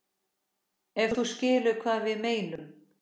Ef þú skilur hvað við meinum.